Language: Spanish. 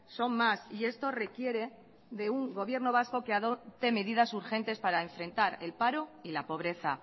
son más y esto requiere de un gobierno vasco que adopte medidas urgentes para enfrentar el paro y la pobreza